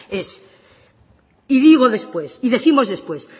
es y digo después y décimos después